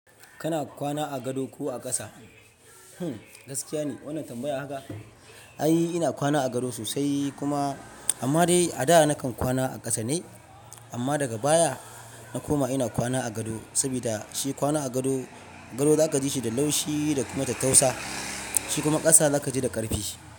Kana kwana a gado ko a ƙasa? Hmm, gaskiya ne wannan tambaya haka. Ai ina kwana a gado sosai kuma, amma dai a da nakan kwana a ƙasa ne, amma daga baya, na koma ina kwana a gado, sabida shi kwana a gado, gado zaka ji shi da laushi da kuma tattausa, shi kuma ƙasa zaka ji da ƙarfi.